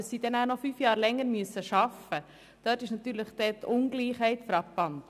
Dass diese fünf Jahre länger arbeiten müssen, stellt eine frappante Ungleichheit dar.